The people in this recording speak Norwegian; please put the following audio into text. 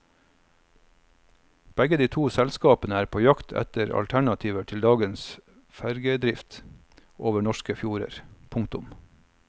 Begge de to selskapene er på jakt etter alternativer til dagens fergedrift over norske fjorder. punktum